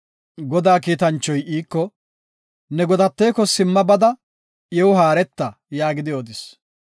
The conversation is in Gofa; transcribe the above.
Godaa kiitanchoy iiko, “Ne godateko simma bada iw haareta” yaagidi odis.